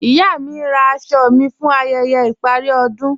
Iya mí ǹ rá àṣọ̀ mí fún ayẹyẹ̀ iparí ọdún.